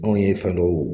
Anw ye fɛn dɔw